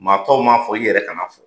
Maa tɔw m'a fɔ, i yɛrɛ kan'a fɔ.